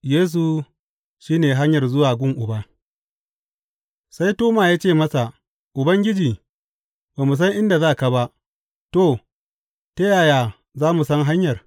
Yesu shi ne hanyar zuwa gun Uba Sai Toma ya ce masa, Ubangiji, ba mu san inda za ka ba, to, ta yaya za mu san hanyar?